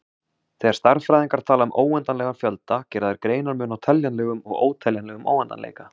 Þegar stærðfræðingar tala um óendanlegan fjölda gera þeir greinarmun á teljanlegum- og óteljanlegum óendanleika.